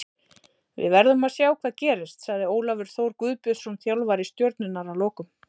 Við verðum að sjá hvað gerist, sagði Ólafur Þór Guðbjörnsson þjálfari Stjörnunnar að lokum.